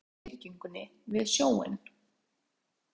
Í átt að ljósleitu byggingunni við sjóinn.